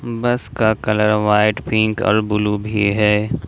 बस का colour white pink और ब्लू भी है।